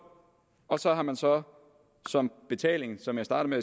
og så har man så som betaling som jeg startede